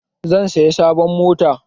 Zan saya sabon mota